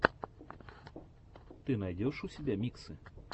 ты найдешь у себя миксы